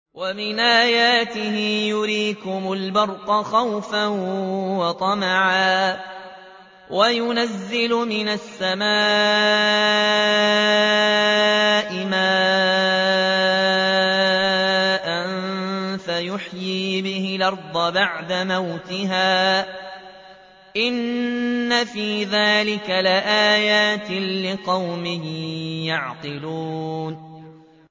وَمِنْ آيَاتِهِ يُرِيكُمُ الْبَرْقَ خَوْفًا وَطَمَعًا وَيُنَزِّلُ مِنَ السَّمَاءِ مَاءً فَيُحْيِي بِهِ الْأَرْضَ بَعْدَ مَوْتِهَا ۚ إِنَّ فِي ذَٰلِكَ لَآيَاتٍ لِّقَوْمٍ يَعْقِلُونَ